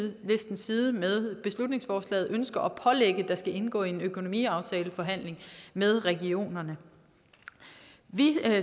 side med beslutningsforslaget ønsker at pålægge der skal indgå i en økonomiaftaleforhandling med regionerne vi